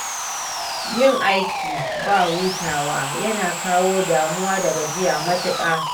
Yin aiki ba hutawa yana kawo damuwa da gajiya matuƙa